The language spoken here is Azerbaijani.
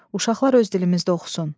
Uşaqlar öz dilimizdə oxusun.